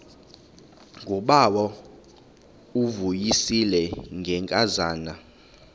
ngubawo uvuyisile ngenkazana